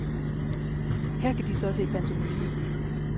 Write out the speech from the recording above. Her kan de så se pantomime.